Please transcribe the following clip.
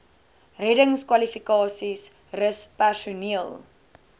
reddingskwalifikasies rus personeel